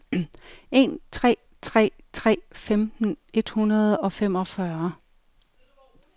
en tre tre tre femten et hundrede og femogfyrre